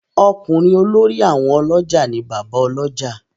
Okunrin olórí àwọn olójà ni Bàbá Olójà.